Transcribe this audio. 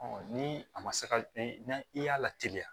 ni a ma se ka n i y'a lateliya